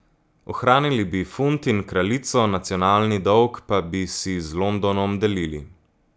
Ohranili bi funt in kraljico, nacionalni dolg pa bi si z Londonom delili.